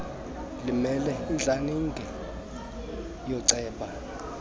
limele intlaninge yooceba